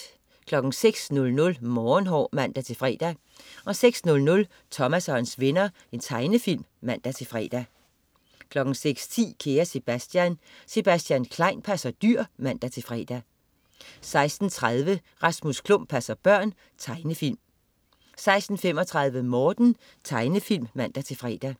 06.00 Morgenhår (man-fre) 06.00 Thomas og hans venner. Tegnefilm (man-fre) 06.10 Kære Sebastian. Sebastian Klein passer dyr (man-fre) 06.30 Rasmus Klump passer børn. Tegnefilm 06.35 Morten. Tegnefilm (man-fre)